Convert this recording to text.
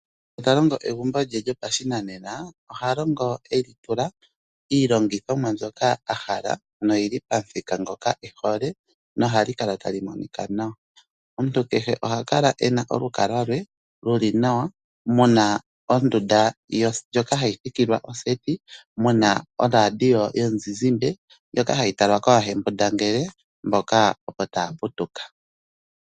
Ngu talongo egumbo lye lyopashinane, oha longo eli tula yiilongithomwa mbyoka ahala noyilo pamithika ngoka ehole nohali kala tali monika nawa . Omuntu kehe oha kala ena olukalwa lwe luli nawa muna ondunda ndjoka hayi thikilwa oseti muna oradio yomuzizimbe ndjoka hayi talwa koohembunda ngele mboka opo taaputuka.